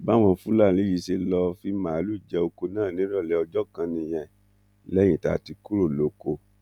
báwọn fúlàní yìí ṣe lọọ fi máàlùú jẹ ọkọ náà nírọlẹ ọjọ kan nìyẹn lẹyìn tá a ti kúrò lóko